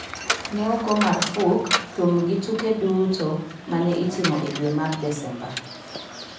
Ne ogo marfuk thum gi tuke duto ma ne itimo e dwe mar Desemba.